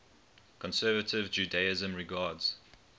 conservative judaism regards